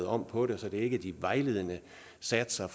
om på det så det er ikke de vejledende satser